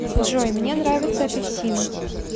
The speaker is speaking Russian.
джой мне нравятся апельсины